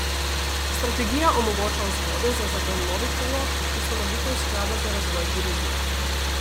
Strategija omogoča vzvode za zagon novih naložb, ustanovitev sklada za razvoj turizma.